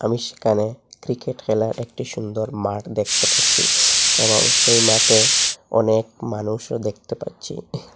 আমি সেখানে ক্রিকেট খেলার একটি সুন্দর মাঠ দেখতে পাচ্ছি এবং সেই মাঠে অনেক মানুষও দেখতে পাচ্ছি।